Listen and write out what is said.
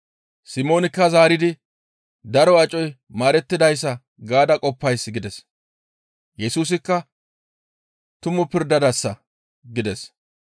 Simoonikka zaaridi, «Daro acoy maarettidayssa gaada qoppays» gides. Yesusikka, «Tumu pirdadasa» gides.